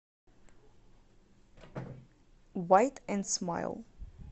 уайт энд смайл